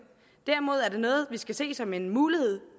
derimod er det noget vi skal se som en mulighed